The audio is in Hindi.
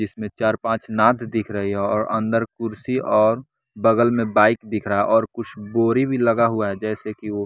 जिसमें चार-पांच नात दिख रही है और अंदर कुर्सी और बगल में बाइक दिख रहा है और कुछ बोरी भी लगा हुआ है जैसे कि वो।